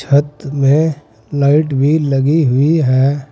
छत में लाइट भी लगी हुई है।